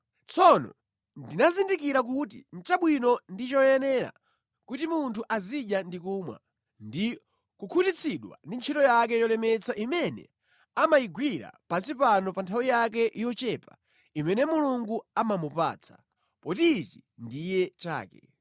Tsono ndinazindikira kuti nʼchabwino ndi choyenera kuti munthu azidya ndi kumwa, ndi kukhutitsidwa ndi ntchito yake yolemetsa imene amayigwira pansi pano pa nthawi yake yochepa imene Mulungu amamupatsa, poti ichi ndiye chake.